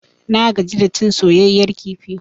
Na gaji da cin soyayyar kifi.